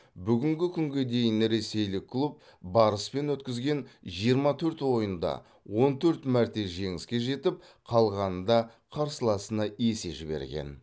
бүгінгі күнге дейін ресейлік клуб барыспен өткізген жиырма төрт ойында он төрт мәрте жеңіске жетіп қалғанында қарсыласына есе жіберген